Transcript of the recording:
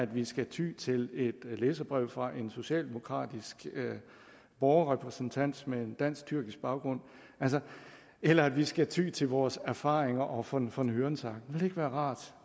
vi skal ty til et læserbrev fra en socialdemokratisk borgerrepræsentant med en dansk tyrkisk baggrund eller vi skal ty til vores erfaringer og von von hørensagen ville det ikke være rart